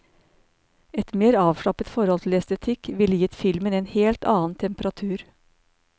Et mer avslappet forhold til estetikk ville gitt filmen en helt annen temperatur.